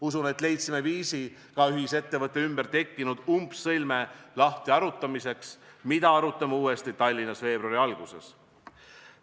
Usun, et leidsime viisi ka ühisettevõtte ümber tekkinud umbsõlme lahtiharutamiseks, seda arutame uuesti Tallinnas veebruari alguses.